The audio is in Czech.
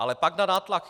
Ale pak na nátlak